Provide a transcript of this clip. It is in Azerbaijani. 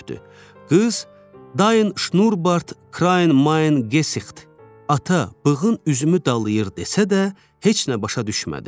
Qız: “Dain, Şnubart, Kraim, Main, Gesixt.” ata, bığım üzümü dalıyır desə də, heç nə başa düşmədi.